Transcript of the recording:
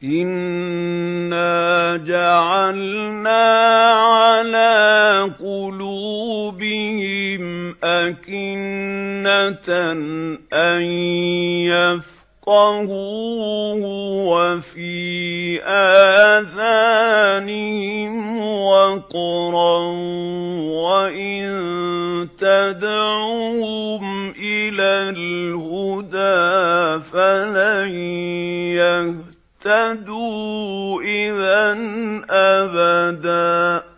إِنَّا جَعَلْنَا عَلَىٰ قُلُوبِهِمْ أَكِنَّةً أَن يَفْقَهُوهُ وَفِي آذَانِهِمْ وَقْرًا ۖ وَإِن تَدْعُهُمْ إِلَى الْهُدَىٰ فَلَن يَهْتَدُوا إِذًا أَبَدًا